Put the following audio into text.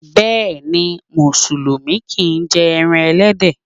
Bẹ́ẹ̀ni, musulumi kìí jẹ ẹran ẹlẹ́dẹ̀